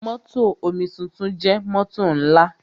Mótò omituntun jẹ́ mótò ńlá.